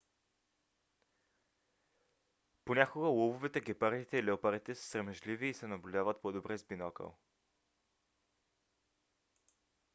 понякога лъвовете гепардите и леопардите са срамежливи и се наблюдават по-добре с бинокъл